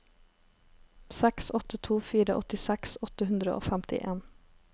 seks åtte to fire åttiseks åtte hundre og femtien